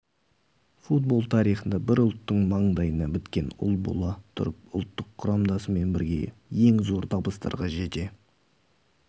футбол тарихында бір ұлттың маңдайына біткен ұл бола тұрып ұлттық құрамасымен бірге ең зор табыстарға жете